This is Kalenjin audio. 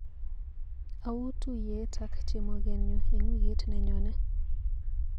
Auu tuiyet ak chemogenyu eng wikit nenyone.